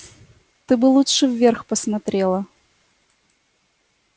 ты бы лучше вверх посмотрела